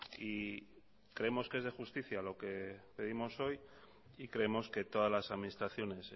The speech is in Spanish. y creemos que es de justicia lo que pedimos hoy y creemos que todas las administraciones